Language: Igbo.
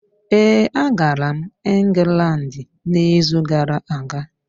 Ee, agara m Ingland n’izu gara aga.